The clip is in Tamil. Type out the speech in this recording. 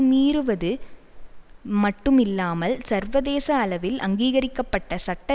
மீறுவது மட்டும் இல்லாமல் சர்வதேச அளவில் அங்கீகரிக்க பட்ட சட்ட